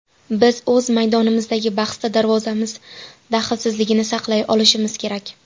Biz o‘z maydonimizdagi bahsda darvozamiz dahlsizligini saqlay olishimiz kerak.